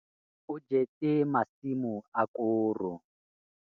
o jetse masimo a koro